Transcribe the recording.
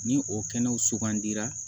Ni o kɛnɛw sugandira